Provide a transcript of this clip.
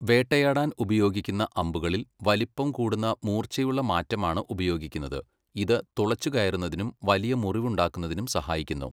വേട്ടയാടാൻ ഉപയോഗിക്കുന്ന അമ്പുകളിൽ വലിപ്പം കൂടുന്ന മൂർച്ചയുള്ള മാറ്റമാണ് ഉപയോഗിക്കുന്നത്, ഇത് തുളച്ചുകയറുന്നതിനും വലിയ മുറിവുണ്ടാക്കുന്നതിനും സഹായിക്കുന്നു.